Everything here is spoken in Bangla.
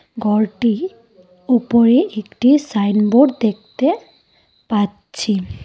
ঘরটি উপরে একটি সাইনবোর্ড দেখতে পাচ্ছি।